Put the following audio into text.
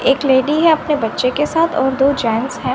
एक लेडी है अपने बच्चे के साथ और दो जेंट्स हैं।